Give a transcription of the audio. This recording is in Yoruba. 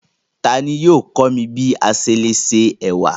Tani yóò kọ̀ mí bí à ṣé lè ṣé è̩wà?